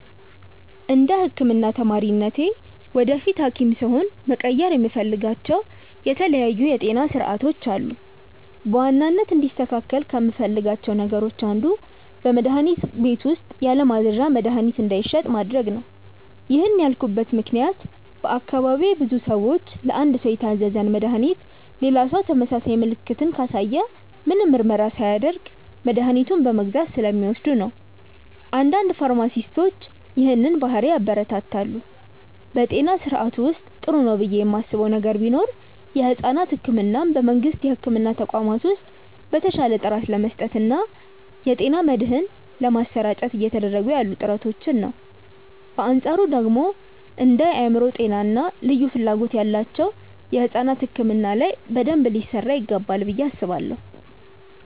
እንደ ህክምና ተማሪነቴ ወደፊት ሀኪም ስሆን መቀየር የምፈልጋቸው የተለያዩ የጤና ስርዓቶች አሉ። በዋናነት እንዲስተካከል ከምፈልጋቸው ነገሮች አንዱ በመድሀኒት ቤቶች ውስጥ ያለማዘዣ መድሀኒት እንዳይሸጥ ማድረግ ነው። ይህን ያልኩበት ምክንያት በአካባቢዬ ብዙ ሰዎች ለአንድ ሰው የታዘዘን መድሃኒት ሌላ ሰው ተመሳሳይ ምልክትን ካሳየ ምንም ምርመራ ሳያደርግ መድኃኒቱን በመግዛት ስለሚወስዱ ነው። አንዳንድ ፋርማሲስቶች ይህንን ባህሪ ያበረታታሉ። በጤና ስርዓቱ ውስጥ ጥሩ ነው ብዬ ማስበው ነገር ቢኖር የሕፃናት ሕክምናን በመንግስት የሕክምና ተቋማት ውስጥ በተሻለ ጥራት ለመስጠት እና የጤና መድህን ለማሰራጨት እየተደረጉ ያሉ ጥረቶችን ነው። በአንፃሩ ደግሞ እንደ የአእምሮ ጤና እና ልዩ ፍላጎት ያላቸው ሕፃናት ሕክምና ላይ በደንብ ሊሰራ ይገባል ብዬ አስባለሁ።